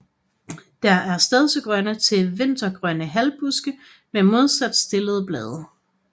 Det er stedsegrønne til vintergrønne halvbuske med modsat stillede blade